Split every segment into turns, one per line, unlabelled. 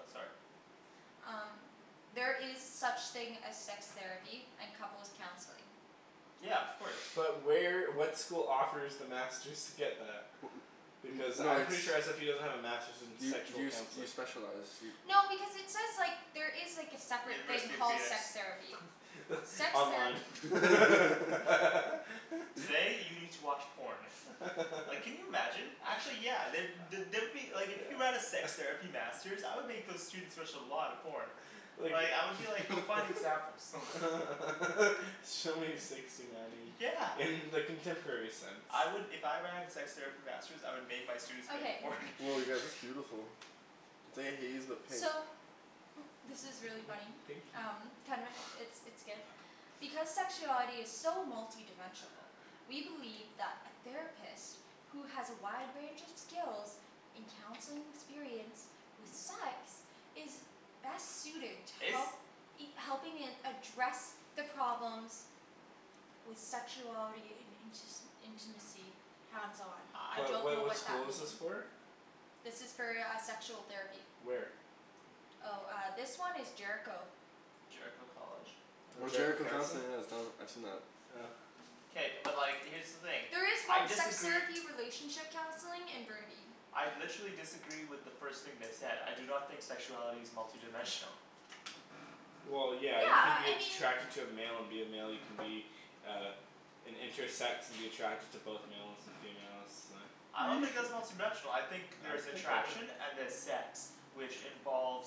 Oh sorry.
Um There is such thing as sex therapy and couples' counseling.
Yeah, of course.
But where, what school offers the masters to get that? Because
No,
I'm
it's
pretty sure SFU doesn't have a masters in
You
sexual
you you
counseling.
specialize, you
No, because it says like, there is like a separate thing
University of
called
penis.
sex therapy. Sex
Online.
therapy.
Today you need to watch porn. Like can you imagine? Actually yeah, the- the- there would be, like if you have a sex
Yeah.
therapy masters, I would make those students watch a lot of porn.
Like
Like I would be like, go find examples.
Show me sixty nineing
Yeah.
in the contemporary sense.
I would, if I ran a sex therapy masters, I would make my students make a
Okay.
porn.
Woah you guys, that's beautiful. pink.
So this is really funny.
Pink you.
Um it's it's good. Because sexuality is so multidimensional we believe that a therapist who has a wide range of skills in counseling experience with sex is best suited to
It's
help helping in address the problems with sexuality in intis- intimacy. Hands on. I
I
What
don't
what
know
what
what that
school is this
mean.
for?
This is for uh sexual therapy.
Where?
Oh uh this one is Jericho.
Jericho College?
No,
Oh
Jericho
Jericho
Counseling.
Counseling, yeah it's done, I've seen that.
Oh.
K, but like here's the thing.
There is
I
one sex
disagree
therapy relationship counseling in Burnaby.
I literally disagree with the first thing they said. I do not think sexuality is multidimensional.
Well yeah,
Yeah
you could
uh
be
I mean
attracted to a male and be a male, you can be uh an intersex and be attracted to both males and females, uh
I don't think that's multidimensional. I think there's attraction and there's sex. Which involves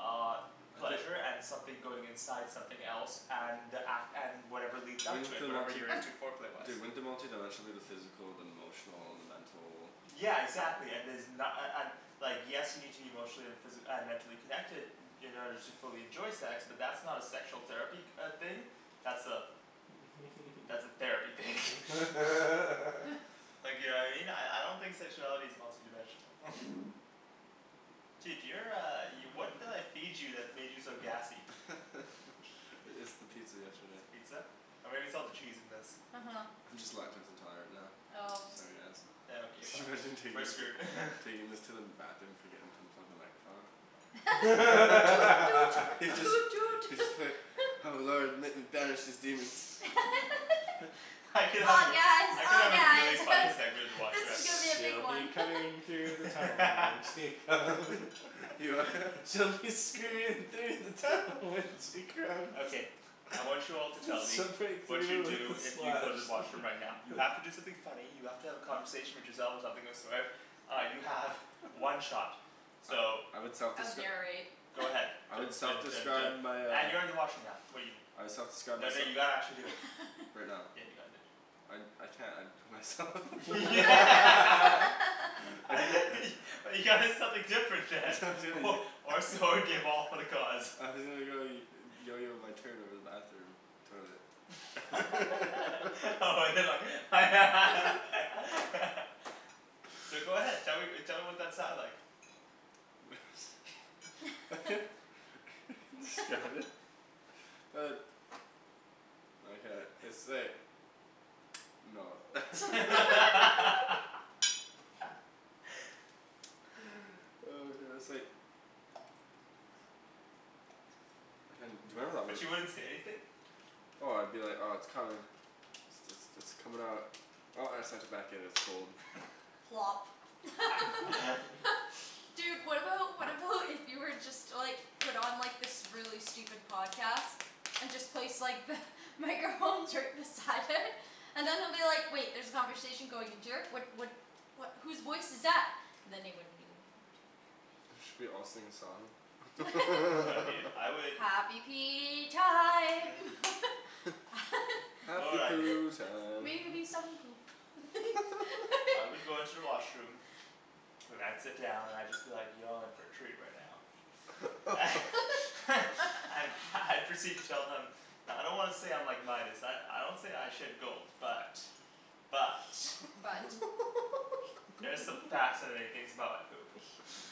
uh
Okay
pleasure and something going inside something else, and ac- and whatever leads up to
Wouldn't
it,
the
whatever
multi-
you're into foreplay-wise.
Dude, wouldn't the multidimensional be the physical, the emotional, and the mental
Yeah exactly and there's na- a- an- Like yes you need to be emotionally and physi- uh mentally connected in order to fully enjoy sex, but that's not a sexual therapy uh thing. That's a that's a therapy thing. Like you know what I mean? I I don't think sexuality is multi dimensional. Dude you're uh, y- what did I feed you that made you so gassy?
I- it's the pizza yesterday.
Pizza? Or maybe it's all the cheese in this.
Uh huh.
I'm just lactose intolerant now.
Oh.
Sorry guys.
Yeah okay fine,
Imagine taking taking this to the bathroom forgetting to unplug the microphone.
Toot toot toot toot.
Just be like "Oh lord let me banish these demons."
I could help
Oh
you.
yes
I could
oh
have a
yeah
really
it's
funny segment in the
this
washroom
is
actually.
gonna be a big
She'll be
one.
coming through the tunnel when she comes. She'll be screaming through the tunnel when she comes.
Okay. I want you all to tell me
Some break
what you'd
through
do
with a
if you
splash.
go to the washroom right now. You have to do something funny, you have to have a conversation with yourself or something of the sort Uh you have one shot. So
I would
I would
self-descri-
narrate.
Go ahead.
I would
Dun dun dun
self-describe
dun
my uh
and you're in the washroom now
I would self-describe
Then
myse-
you gotta actually do it.
Right now?
Yeah you gotta do it.
I I can't, I'd put myself
You gotta do something different then. Or so you gave all for the cause.
my turn over the bathroom. Toilet.
Oh but they're like So go ahead. Tell me tell me what that sounds like.
It's Uh No. Hey, do you remember that
But you
one
wouldn't say anything?
Oh I'd be like, oh it's coming. It's it's it's coming out. Oh I have such a
Plop. Dude, what about, what about if you were just to like put on this really stupid podcast? And just place like the microphones right beside it. And then they'll be like "Wait there's a conversation going into here, what what" "what, whose voice is that?" And then they wouldn't know.
Should we all sing a song?
No dude, I would
Happy pee time.
You know
Happy
what I'd do
poo time.
Maybe some poop.
I would go into the washroom then I'd sit down and I'd just be like, "Y'all in for a treat right now." And I'd proceed to tell them "I don't wanna say I'm like Midas, I I don't say I shit gold. But, but,
But
there's some fascinating things about my poop.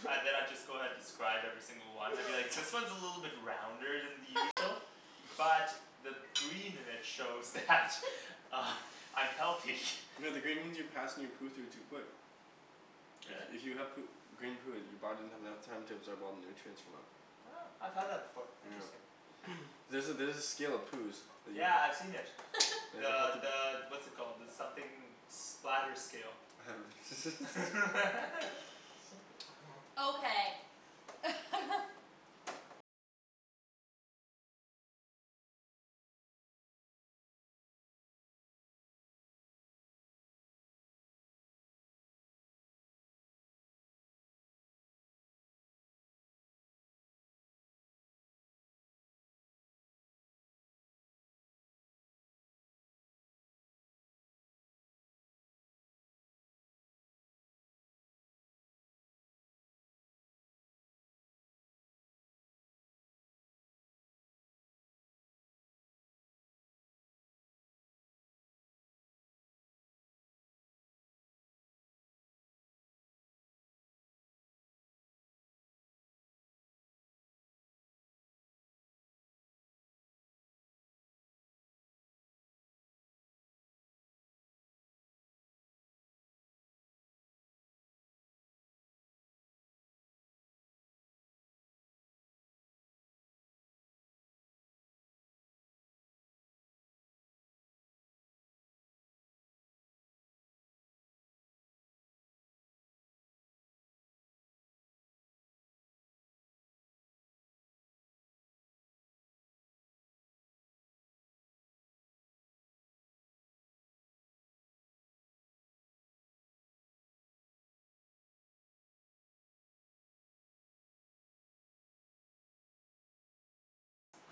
And then I'd just go ahead describe every single one, I'd be like "This one is a little bit rounder than the usual." "But the green in it shows that I'm healthy."
No the green means you're passing your poo through too quick.
Really?
If you have poo- green poo, your body doesn't have enough time to absorb all the nutrients from it.
Huh, I've had that before.
Yeah.
Interesting.
There's a there's a scale of poos that you
Yeah, I've seen
c-
it. The the what's it called, the something splatter scale.
Okay.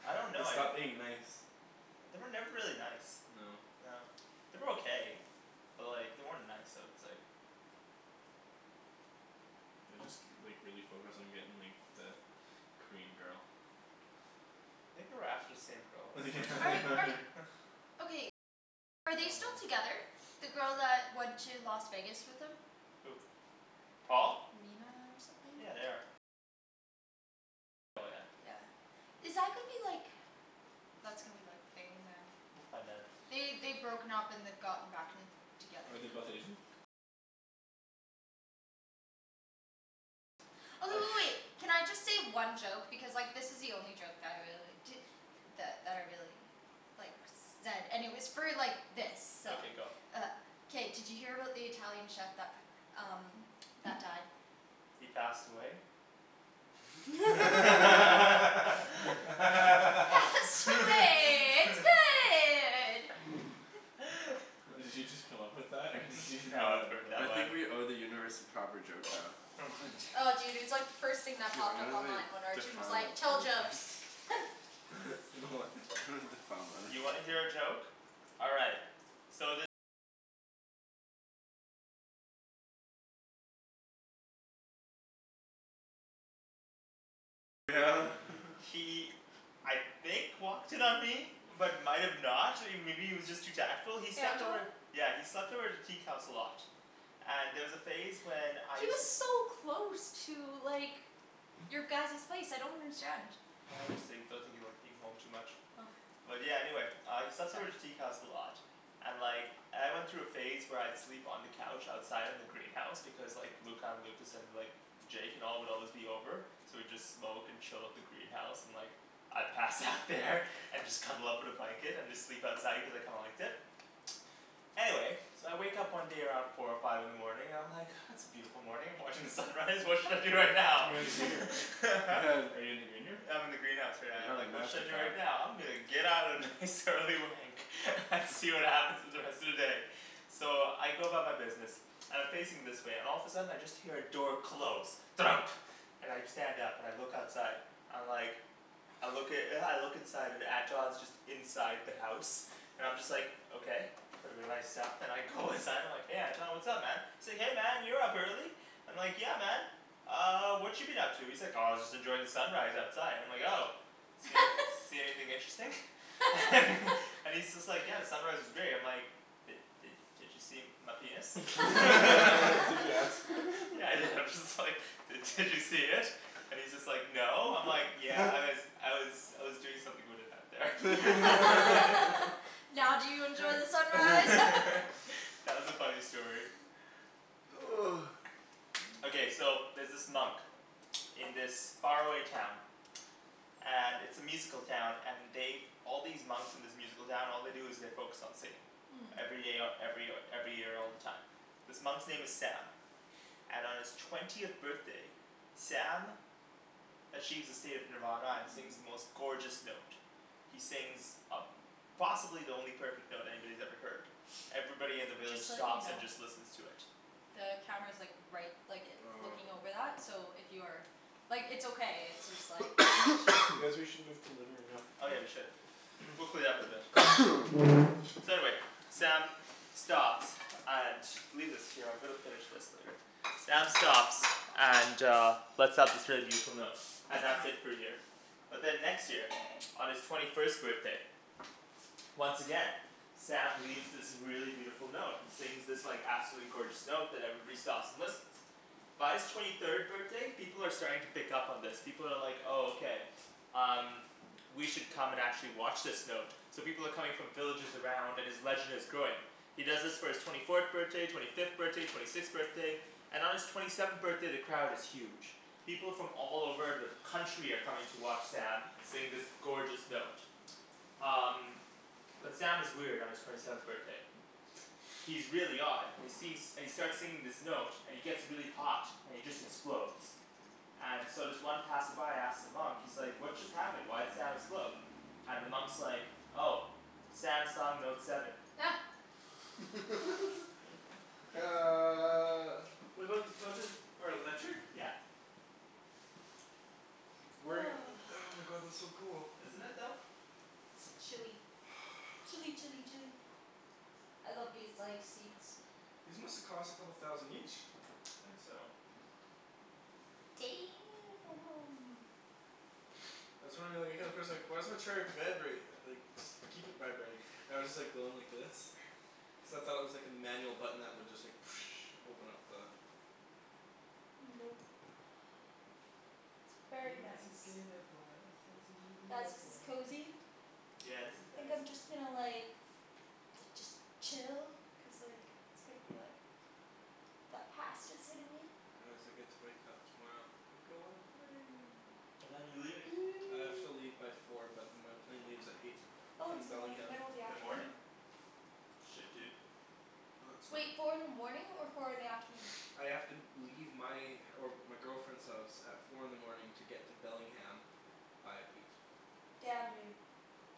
I don't
They
know, I'd
stopped being nice.
They were never really nice.
No.
No. They were okay. But like they weren't nice I would say.
They just k- like really focused on getting like the Korean girl.
Think they were after the same girl at one point.
Are they still together? The girl that went to Las Vegas with them?
Who? Paul?
Mina or something?
Yeah, they are.
Yeah. Is that gonna be like That's gonna be like thing then.
We'll find out.
They, they'd broken up and they'd gotten back and together.
Are they both Asian?
Oh w- w- wait. Can I just say one joke? Because like this is the only joke that I really, di- that that I really like zed, and it was for like this, so
Okay go.
Uh K, did you hear about the Italian chef that p- um that died?
He passed away?
Pasta way. It's good!
Did you just come up with that or did you just
No, I've
know
heard that
I
one.
think we owe the universe a proper joke now.
Oh dude, it was like the first thing that
Dude I'm
popped up
gonna like,
online when Arjan was
defile
like,
my
"Tell jokes."
You know what?
Defile mine.
You wanna hear a joke? All right. He I think walked in on me. But might have not. I mean maybe he was just too tactful. He slept
Anton?
over Yeah, he slept over at the teak house a lot. And there was a phase when I
He
used
was
to
so close to like your guys's place, I don't understand.
I just think, I don't think he liked being home too much.
Oh.
But yeah, anyway. He slept over at the teak house a lot. And like I went through a phase where I'd sleep on the couch outside in the greenhouse, because like Luca and Lucas and like Jake and all would always be over. So we'd just smoke and chill at the greenhouse, and like I'd pass out there and just cuddle up in a blanket and just sleep outside cuz I kinda liked it. Anyway So I wake up one day around four or five in the morning, and I'm like "Ah it's a beautiful morning, I'm watching the sunrise, what should I do right now?"
You're in the green room, right? Are you in the green room?
I'm in the greenhouse right now. I'm
Have a
like "What should
master
I do
fap.
right now? I'm gonna get out a nice early wank and see what happens in the rest of the day." So I go about my business. And I'm facing this way, and all of a sudden I just hear a door close. Thunk. And I stand up and I look outside. I'm like I look i- I look inside, and Anton's just inside the house. I'm just like, okay. Put away my stuff and I go inside, I'm like "Hey Anton, what's up man?" Say "Hey man, you're up early." I'm like, "Yeah man." "Uh what you been up to?" He's like "Oh just enjoying the sunrise outside." I'm like "Oh." "See anyth- see anything interesting?" And he's just like, "Yeah, the sunrise was great." And I'm like "Did did did you see my penis?"
Did you ask
"Yeah I did." I'm just like "Did did you see it?" And he's just like "No." I'm like "Yeah, I was I was I was doing something with it out there."
Now do you enjoy the sunrise?
That was a funny story. Okay, so there's this monk in this far away town. And it's a musical town, and they've All these monks in this musical town, all they do is they focus on singing.
Mmm.
Every day, o- every o- every year all the time. This monk's name is Sam. And on his twentieth birthday Sam achieves a state of nirvana and sings the most gorgeous note. He sings a- possibly the only perfect note anybody's ever heard. Everybody in the village
Just to let you
stops and
know
just listens to it.
the camera's like right, like it,
Oh.
looking over that, so if you are Like it's okay, it's just like
Guys we should move to the living room now.
Oh yeah we should. We'll clean it up eventually. So anyway. Sam stops. And, leave this here, I'm gonna finish this later. Sam stops and uh And that's it for a year. But then next year, on his twenty first birthday once again Sam leaves this really beautiful note, and sings this like absolutely gorgeous note that everybody stops and listens. By his twenty third birthday, people are starting to pick up on this. People are like "Oh okay, um, we should come and actually watch this note." So people are coming from villages around, and his legend is growing. He does this for his twenty fourth birthday, twenty fifth birthday, twenty sixth birthday. And on his twenty seventh birthday the crowd is huge. People from all over the country are coming to watch Sam sing this gorgeous note. Um But Sam is weird on his twenty seventh birthday. He's really odd, and he seems, and he starts singing this note, and he gets really hot, and he just explodes. And so this one passerby asks the monk, he's like "What just happened? Why'd Sam explode?" And the monk's like, "Oh. Sam sung note seven."
these couches are electric?
Yeah.
Where, oh my god, that's so cool.
Isn't it though?
It's chilly. Chilly chilly chilly. I love these like seats.
These must have cost a couple thousand each.
I think so.
why does my chair vibrate, like just keep it vibrating. I was just like going like this. except I thought it was like a manual button that would just like open up the
Nope. It's
He
very
was a
nice.
skater boy, I said see you
Guys,
later
this is
boy.
cozy.
Yeah, this is
Think
nice.
I'm just gonna like da- just chill. Cuz like, it's gonna be like That pasta's hitting me.
get to wake up tomorrow and go on a plane.
What time are you leaving?
I have to leave by four but my plane leaves at eight.
Oh
From
it's in like the
Bellingham.
middle of the
In the morning?
afternoon.
Shit dude.
No, it's fine
Wait,
dude.
four in the morning or four in the afternoon?
I have to leave my, or my girlfriend's house at four in the morning to get to Bellingham by eight.
Damn, dude.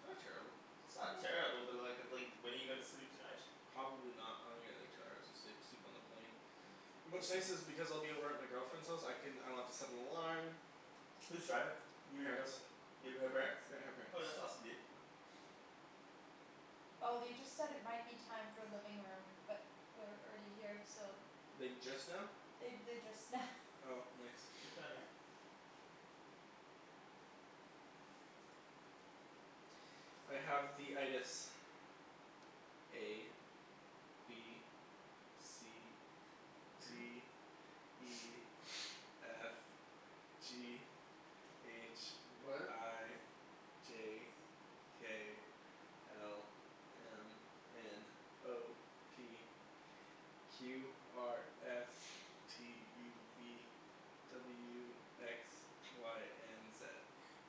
Not terrible.
It's not terrible, but like, it's like when are you gonna sleep tonight?
Probably not. I'm gonna get like two hours of sleep. Sleep on the plane.
What's
What's nice
this?
is because I'll be over at my girlfriend's house, I can, I don't have to set an alarm.
Who's driving? You or your
Parents.
girlfriend? You up at her parents'?
Yeah, her parents.
Oh that's awesome dude.
Oh they just said it might be time for living room, but we're already here, so
Like just now?
They they, just now.
Oh nice.
Good timing.
I have the A. B. C. D. E. F. G. H.
What?
I. J. K. L. M. N. O. P. Q R S. T U V. W X. Y and Z.